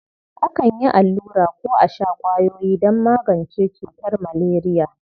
Akan yi allura ko a sha ƙwayoyi don magance cutar maleriya.